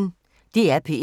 DR P1